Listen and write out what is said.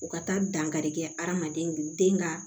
U ka taa dankarikɛ hadamaden den ka